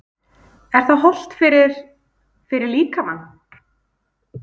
Er það hollt fyrir, fyrir líkamann?